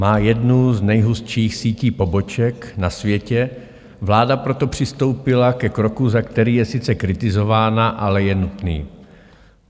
Má jednu z nejhustších sítí poboček na světě, vláda proto přistoupila ke kroku, za který je sice kritizována, ale je nutný.